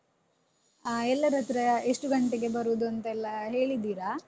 ಹ ಎಲ್ಲರತ್ರ ಎಷ್ಟು ಗಂಟೆಗೆ ಬರುದೂಂತೆಲ್ಲ ಹೇಳಿದ್ದೀರಾ?